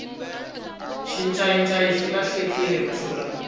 xincayincayi xi lahlekile masiku lawa